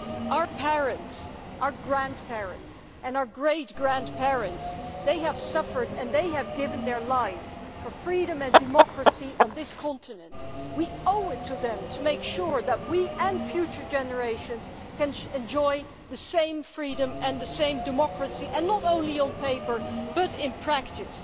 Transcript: Our parents, our grandparents and our great grandparents suffered and gave their lives for freedom and democracy on this continent we owe it to them to make sure that we and future generations can enjoy the same freedom and the same democracy, not only on paper but in practice.